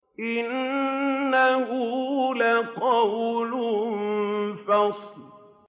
إِنَّهُ لَقَوْلٌ فَصْلٌ